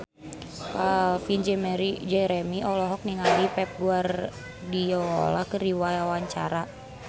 Calvin Jeremy olohok ningali Pep Guardiola keur diwawancara